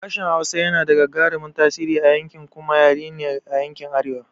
Harshen Hausa yana da gagarumin tasiri a yanki kuma yare ne a yankin arewa.